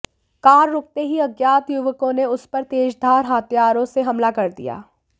car रुकते ही अज्ञात युवकों ने उस पर तेजधार हथियारों से हमला कर दिया